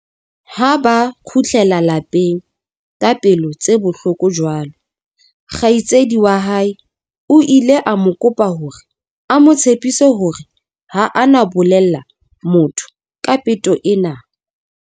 Ha ba kgutlela lapeng ka pelo tse bohloko jwalo, kgaitsedi wa hae o ile a mo kopa hore a mo tshepise hore ha a na bolella motho ka peto ena.